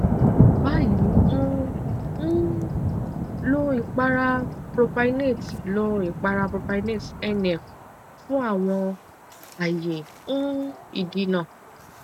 bayi n um lo ipara propynate lo ipara propynate nf fun awọn aaye um idina